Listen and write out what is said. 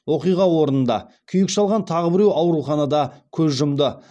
оқиға орнында күйік шалған тағы біреу ауруханада көз жұмды